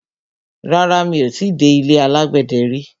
Rárá, mi ò ti dé ilé alágbẹ̀dẹ rí.